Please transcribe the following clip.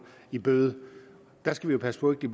i bøde der skal vi passe på at det